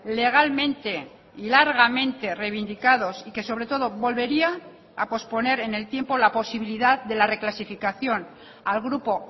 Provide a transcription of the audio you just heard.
legalmente y largamente reivindicados y que sobre todo volvería a posponer en el tiempo la posibilidad de la reclasificación al grupo